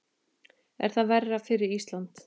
Er það verra fyrir Ísland?